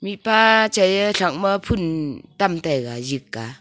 mihpa chai e thak ma phul tam taiga lik a.